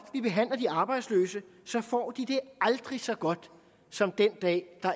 vi behandler de arbejdsløse så får de det aldrig så godt som den dag hvor